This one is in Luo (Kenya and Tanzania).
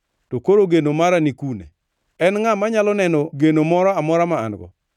to koro geno mara ni kune? En ngʼa manyalo neno geno moro amora ma an-go?